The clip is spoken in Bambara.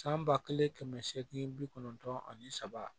San ba kelen kɛmɛ seegin bi kɔnɔntɔn ani saba